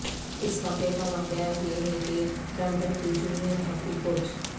اس واقعہ کا واقعہ یہ ہے کہ ڈانٹن کی جونیئر ہاکی کوچ